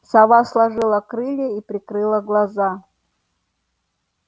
сова сложила крылья и прикрыла глаза